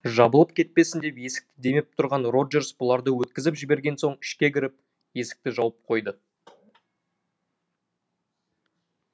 жабылып кетпесін деп есікті демеп тұрған роджерс бұларды өткізіп жіберген соң ішке кіріп есікті жауып қойды